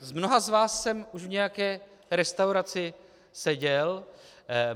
S mnoha z vás už jsem v nějaké restauraci seděl.